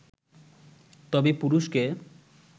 তবে পুরুষকে